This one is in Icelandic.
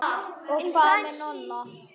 Og hvað með Nonna?